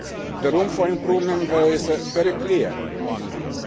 The room for improvement there is very clear indeed.